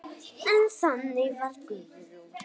Og þannig var Guðrún.